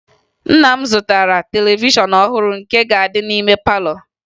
Nna m zụtara televishọn ọhụrụ nke ga-adị n'ime palọ